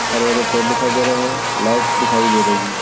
हरे हरे पेड़ दिखाई दे रहे है लाइट्स दिखाई दे रही है।